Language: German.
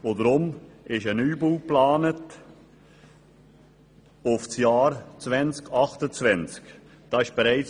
Darum ist ein Neubau für das Jahr 2028 geplant.